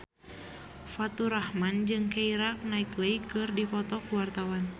Faturrahman jeung Keira Knightley keur dipoto ku wartawan